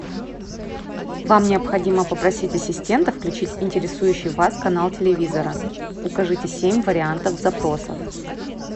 вам необходимо попросить ассистента включить интересующий вас канал телевизора укажите семь вариантов запросов